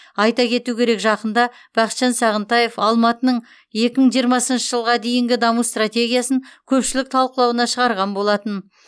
айта кету керек жақында бақытжан сағынтаев алматының екі мың жиырмасыншы жылға дейінгі даму стратегиясын көпшілік талқылауына шығарған болатын